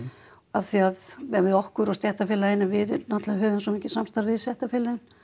af því að við okkur og stéttarfélögin að við náttúrulega höfum svo mikið samstarf við stéttarfélögin